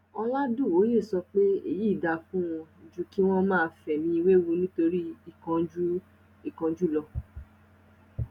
oládùwòye sọ pé èyí dáa fún wọn ju kí wọn máa fẹmí wewu nítorí ìkánjú lọ